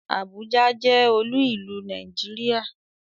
Àbújá jẹ́ olú ìlú Nàìjíríà.